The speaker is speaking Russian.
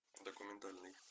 документальный